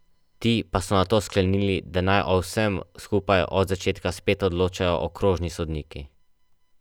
Ti pa so nato sklenili, da naj o vsem skupaj od začetka spet odločajo okrožni sodniki.